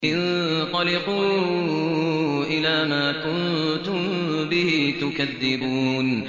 انطَلِقُوا إِلَىٰ مَا كُنتُم بِهِ تُكَذِّبُونَ